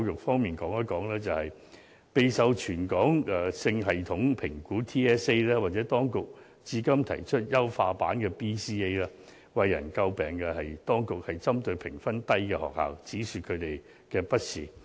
說到全港性系統評估，又或當局最近經優化後而提出的 BCA， 最為人詬病的是，當局會針對評分低的學校，只說它們的不是。